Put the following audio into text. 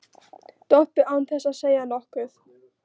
Doppu án þess að segja nokkuð.